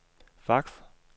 fax